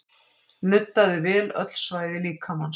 Nuddaðu vel öll svæði líkamans